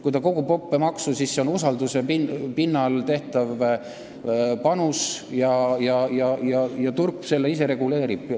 Kui ta kogub õppemaksu, siis see toimub usalduse pinnalt ja turg ise seda reguleerib.